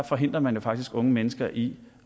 forhindrer man jo faktisk unge mennesker i